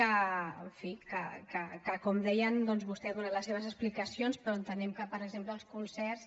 en fi com deien doncs vostè ha donat les seves explicacions però entenem que per exemple els concerts